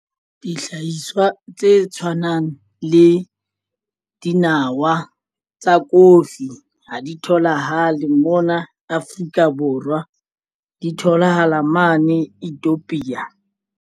Dihlahiswa tse tshwanang le dinawa tsa kofi ha di tholahale mona Afrika Borwa di tholahala mane Ethiopia.